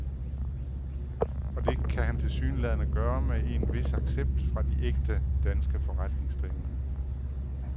Og det kan han tilsyneladende gøre med en vis accept fra de ægte danske forretningsdrivende.